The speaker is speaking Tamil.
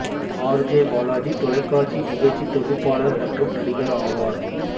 ஆர் ஜே பாலாஜி தொலைக்காட்சி நிகழ்ச்சி தொகுப்பாளர் மற்றும் நடிகர் ஆவார்